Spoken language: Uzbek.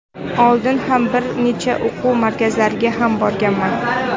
Oldin ham bir necha o‘quv markazlariga ham borganman.